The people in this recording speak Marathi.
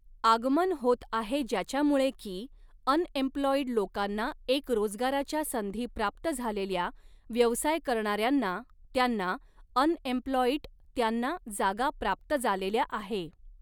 आगमन होत आहे ज्याच्यामुळे की अन्एम्प्लॉईड लोकांना एक रोजगाराच्या संधी प्राप्त झालेल्या व्यवसाय करणाऱ्यांना त्यांना अन्एम्प्लॉईट त्यांना जागा प्राप्त जालेल्या आहे